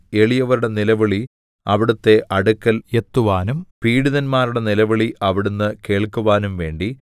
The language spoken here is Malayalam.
എളിയവരുടെ നിലവിളി അവിടുത്തെ അടുക്കൽ എത്തുവാനും പീഡിതന്മാരുടെ നിലവിളി അവിടുന്ന് കേൾക്കുവാനും വേണ്ടി